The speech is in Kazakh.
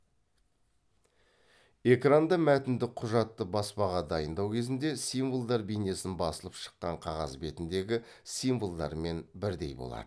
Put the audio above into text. экранда мәтіндік құжатты баспаға дайындау кезінде символдар бейнесін басылып шыққан қағаз бетіндегі символдармен бірдей болады